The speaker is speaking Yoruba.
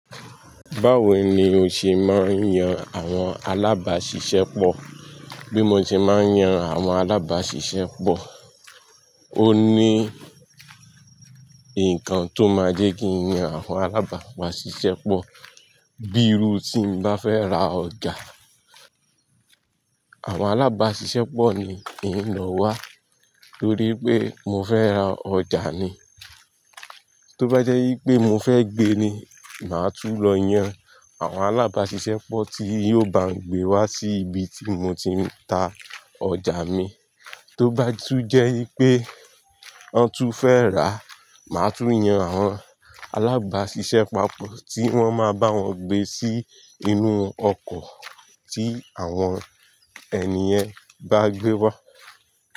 Báwo ni o ṣe máa ń yan àwọn alábàáṣiṣẹ́pọ̀? Bí mo ṣe máa ń yan àwọn alábàáṣiṣẹ́pọ̀, ó ní ǹkan tó máa jẹ́ kí n yan àwọn alábàáṣiṣẹ́pọ̀. Bíi irú ìsín mo bá fẹ́ ra ọjà, àwọn alábàáṣiṣẹ́pọ̀ ni ń lọ wá torí pé mo fẹ́ ra ọjà ni. Tó bá jẹ́ wípé mo fẹ́ gbé ni, màá tún lọ yan àwọn alábàáṣiṣẹ́pọ̀ tí yóò bá gbé wá sí ibi tí mo ti ń ta ọjà mi. Tó bá tún jẹ́ wípé wọn tún fẹ́ rà, màá tún yan àwọn alábàáṣiṣẹ́pọ̀ tí wọ́n máa bá wọn gbé sí inú ọkọ̀ tí àwọn ènìyàn bá gbé wá.